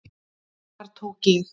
Þar tók ég